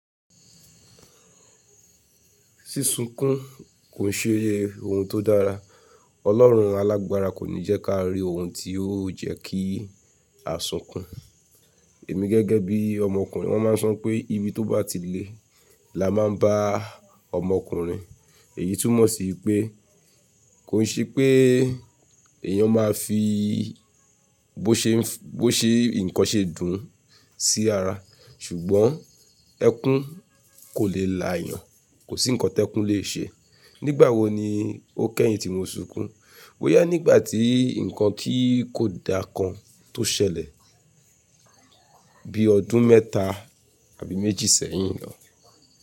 Sí sunkún kò ṣe ohun tó dára. Ọlọ́run alágbára kò ní jẹ́ ká rí ohun tí ó jẹ́ kí a sunkún. Èmi gẹ́gẹ́ bí ọmọkùnrin, wọ́n máa ń sọ pé ibi tó bá ti lé la máa ń bá ọmọkùnrin. Èyí tún mọ̀ sí pé kò sí pé eèyàn máa fi bó ṣe nǹkan ṣe dùn sí ara. Ṣùgbọ́n ẹkún kò lè eeyan. Kò sí nǹkan tí ẹkún lè ṣe. Nígbà wo ni ó kẹ́yìn tí mo sunkún? Boya nígbà tí nǹkan ti kò da kan tó ṣẹlẹ̀ bí ọdún mẹ́ta àbí méjì sẹ́yìn lọ.